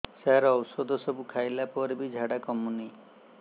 ସାର ଔଷଧ ସବୁ ଖାଇଲା ପରେ ବି ଝାଡା କମୁନି